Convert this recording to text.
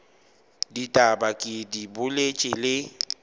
ditaba ke di boletše le